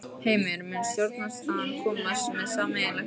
Heimir: Mun stjórnarandstaðan koma með sameiginlegt álit?